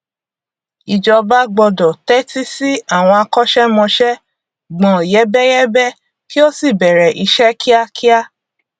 ìjọba gbọdọ tẹtí sí àwọn akọṣẹmọṣẹ gbọn yẹbẹyẹbẹ kí ó sì bẹrẹ ìṣe kíákíá